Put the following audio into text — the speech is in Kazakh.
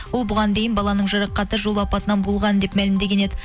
ол бұған дейін баланың жарақаты жол апатынан болған деп мәлімдеген еді